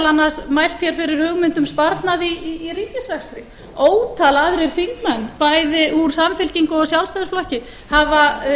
mælt hér fyrir hugmynd um sparnað í ríkisrekstri ótal aðrir þingmenn bæði úr samfylkingu og sjálfstæðisflokki hafa